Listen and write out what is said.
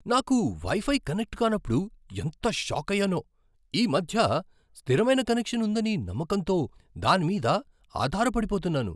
నాకు wifi connect కానప్పుడు ఎంత షాకయ్యానో. ఈ మధ్య స్థిరమైన కనెక్షన్ ఉందని నమ్మకంతో దాని మీద ఆధారపడిపోతున్నాను.